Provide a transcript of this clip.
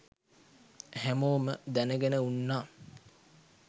හැමෝම දැනගෙන උන්නා